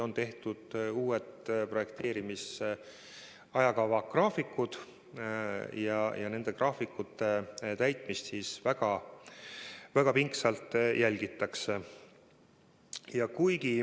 On tehtud uued projekteerimise ajakavad ja nende graafikute täitmist jälgitakse väga pingsalt.